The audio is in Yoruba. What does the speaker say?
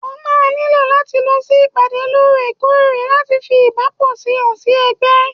o ma niló lati losí ìpàdé lorẹ̀-korẹ̀ láti fí ìbápo sí hàn sí Ègbé